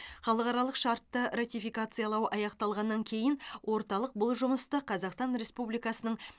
халықаралық шартты ратификациялау аяқталғаннан кейін орталық бұл жұмысты қазақстан республикасының